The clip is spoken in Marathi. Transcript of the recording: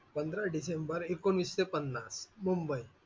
पंधरा डिसेंबर एकोणवीसशे पन्नास मुंबई.